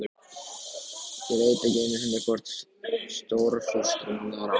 Ég veit ekki einu sinni hvort Stórfurstanum er alvara.